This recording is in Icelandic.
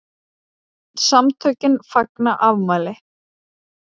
SAMTÖKIN FAGNA AFMÆLI